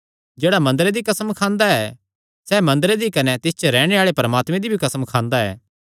जेह्ड़ा मंदरे दी कसम खांदा ऐ सैह़ मंदरे दी कने तिस च रैहणे आल़े परमात्मे दी भी कसम खांदा ऐ